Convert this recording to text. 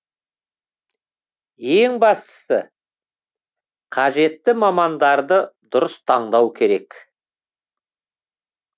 ең бастысы қажетті мамандарды дұрыс таңдау керек